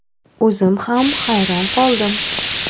O‘zim ham hayron qoldim.